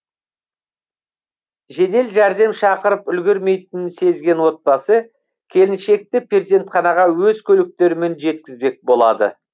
жедел жәрдем шақырып үлгермейтінін сезген отбасы келіншекті перзентханаға өз көліктерімен жеткізбек болады